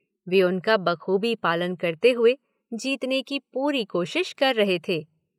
वे उनका बखूबी पालन करते हुए जीतने की पूरी कोशिश कर रहे थे।